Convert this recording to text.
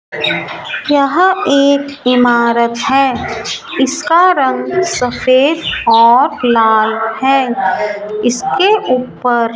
यहां एक इमारत है इसका रंग सफेद और लाल है इसके ऊपर --